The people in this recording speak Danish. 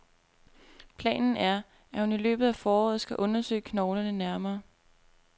Planen er, at hun i løbet af foråret skal undersøge knoglerne nærmere.